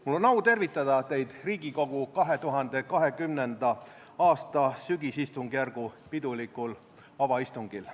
Mul on au tervitada teid Riigikogu 2020. aasta sügisistungjärgu pidulikul avaistungil.